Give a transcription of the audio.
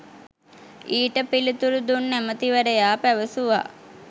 ඊට පිළිතුරු දුන් ඇමතිවරයා පැවසුව